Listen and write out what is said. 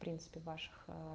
принципы ваших аа